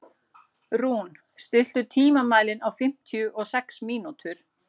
Rún, stilltu tímamælinn á fimmtíu og sex mínútur.